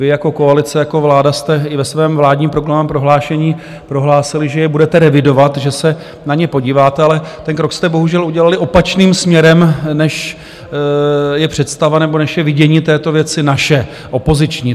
Vy jako koalice, jako vláda jste i ve svém vládním programovém prohlášení prohlásili, že je budete revidovat, že se na ně podíváte, ale ten krok jste bohužel udělali opačným směrem, než je představa nebo než je vidění této věci naše, opoziční.